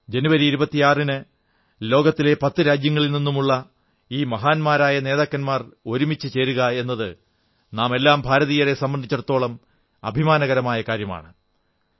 26 ജനുവരിയിൽ ലോകത്തിലെ 10 രാജ്യങ്ങളിൽ നിന്നുള്ള ഈ മഹാന്മാരായ നേതാക്കന്മാർ ഒരുമിച്ചു ചേരുക എന്നത് നാം എല്ലാ ഭാരതീയരെ സംബന്ധിച്ചിടത്തോളവും അഭിമാനകരമായ കാര്യമാണ്